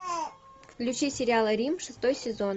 включи сериал рим шестой сезон